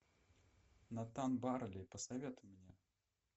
натан барли посоветуй мне